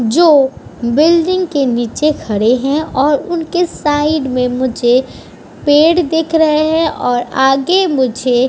जो बिल्डिंग के नीचे खड़े हैं और उनके साइड में मुझे पेड़ दिख रहे हैं और आगे मुझे --